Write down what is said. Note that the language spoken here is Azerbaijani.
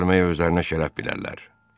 mənlə gəlməyə özlərinə şərəf bilərlər.